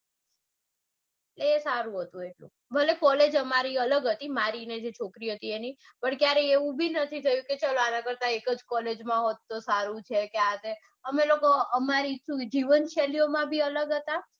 એ સારું હતું ભલે કોલેજ અમારી અલગ હતી એ જે છોકરી હતી એની પણ એવું એવું બી નથી થયું કે અમે એક જ collage માં હોટ તો સારું છે કે હા તે. અમે જીવનશૈલીઓ પણ અલગ હતા.